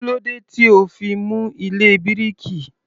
Kílódé tí ò ó fi mú ilé bíríkì?